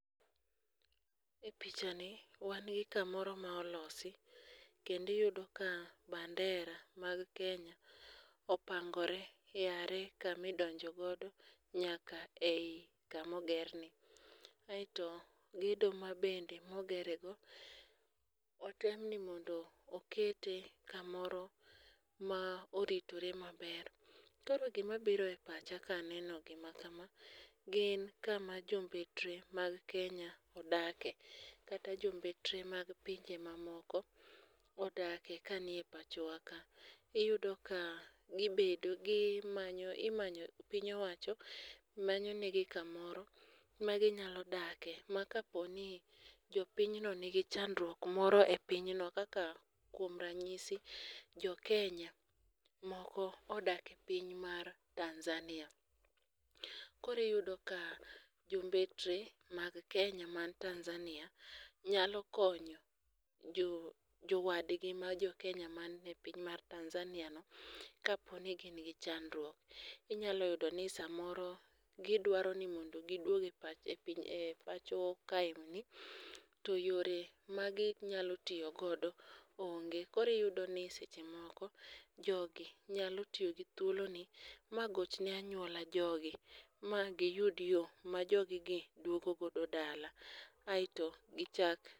E pichani wan gi kamoro ma olosi kendo iyudo ka bandera mag Kenya opangoree yare kamidonjo godo nyaka ei kamogerni. Aeto gedo mabende mogerego, otem ni mondo okete kamoro ma oritore maber. Koro gimabiro e pacha kaneno gima kama, gin kama jombetre mag Kenya odakie, kata jombetre mag pinje mamoko odakie kanie pachowa ka. Iyudo ka imanyo ,piny owacho manyo negi kamoro maginyalo dakie ma kaponi jopinyno nigi chandruok moro e pinyno, kaka kuom ranyisi jokenya moko odakie piny mar Tanzania, koro iyudo ka jombetre mag Kenya man Tanzania nyalo konyo jowadgi ma jokenya mane piny mar Tanzaniano, kapo ni gin gi chandruok. Inyalo yudo ni samoro gidwaro ni mondo gidwog e pacho kaendi to yore maginyalo tiyo godo onge. koro iyudo ni seche moko, jogi nyalo tiyo gi thuoloni, ma gochne anyuola jogi, ma giyud yo ma joggi dwogo godo dala, aeto gichak